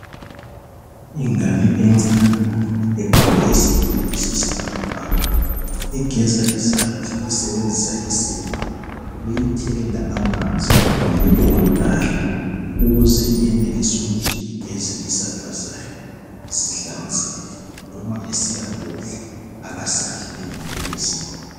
Ingane encane egqoke isikipa esiyisibhakabhaka. Igeza izandla isebenzisa isepa, beyithelela amanzi ngumuntu omdala ukuze iyenelise kuthi igeze izandla zayo zihlanzeke. Loma esiyakudla akasadli lengcekeza.